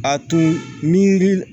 A tun ni